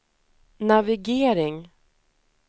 navigering